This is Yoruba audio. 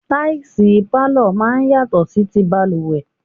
Táìsì pálọ̀ máa ń yàtọ̀ sí ti balùwẹ̀.